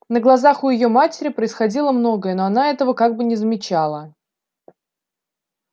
на глазах у её матери происходило многое но она этого как бы не замечала